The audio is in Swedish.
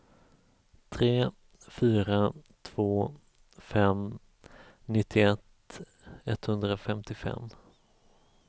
tre fyra två fem nittioett etthundrafemtiofem